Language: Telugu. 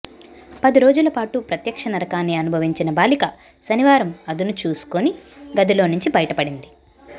పది రోజుల పాటు ప్రత్యక్ష నరకాన్ని అనుభవించిన బాలిక శనివారం అదును చూసుకొని గదిలోంచి బయటపడింది